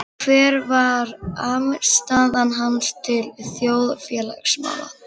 Hver var afstaða hans til þjóðfélagsmála?